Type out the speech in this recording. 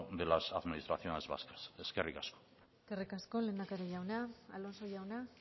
de las administraciones vascas eskerrik asko eskerrik asko lehendakari jauna alonso jauna